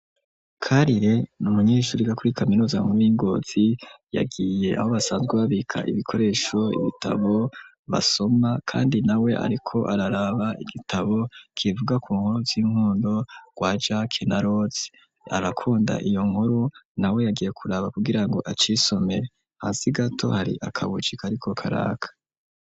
Karire n'umunyishuri yiga kuri kaminuza nkuru y'i ngozi yagiye aho basanzwe babika ibikoresho; ibitabo basoma kandi nawe ariko araraba igitabo kivuga ku nkuru z'inkundo za jack na roza arakunda iyo nkuru na we yagiye kuraba kugira ngo agisome hasi gato hari akamucika ariko karaka.